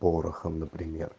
порохом например